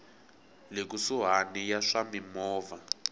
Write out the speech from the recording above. le kusuhani ya swa mimovha